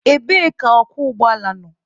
Ebee ka ọkwọ ụgbọala nọ?